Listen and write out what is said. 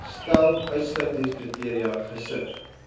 stel uitsluitingskriteria gesif